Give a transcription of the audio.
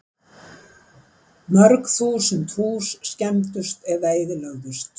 Mörg þúsund hús skemmdust eða eyðilögðust